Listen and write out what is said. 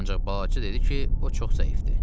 Ancaq balacı dedi ki, o çox zəifdir.